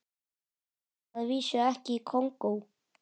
Að vísu ekki í Kongó.